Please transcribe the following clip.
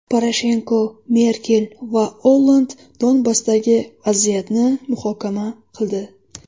Poroshenko, Merkel va Olland Donbassdagi vaziyatni muhokama qildi.